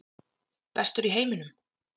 Bestur í heiminum?